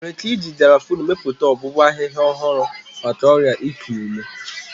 Enwere ike iji Garafuni mepụta ọgwụgwọ ahịhịa ọhụrụ maka ọrịa iku ume.